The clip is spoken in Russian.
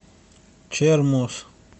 чермоз